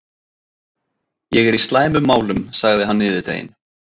Ég er í slæmum málum sagði hann niðurdreginn.